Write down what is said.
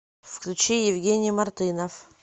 включи евгений мартынов